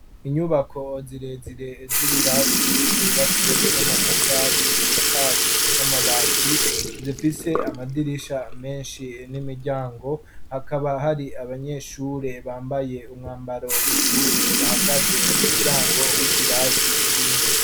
Inyubako zirezire z'ibirasi zubatswe n'amatafari zisakajwe n'amabati zifise amadirisha menshi n'imiryango hakaba hari abanyeshure bambaye umwambaro wishure bahagaze mu muryango wikirasi kimwe.